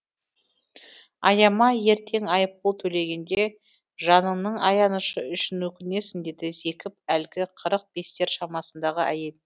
аяма ертең айыппұл төлегенде жаныңның аянышы үшін өкінесің деді зекіп әлгі қырық бестер шамасындағы әйел